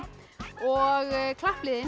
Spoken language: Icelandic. og